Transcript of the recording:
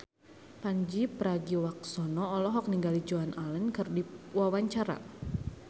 Pandji Pragiwaksono olohok ningali Joan Allen keur diwawancara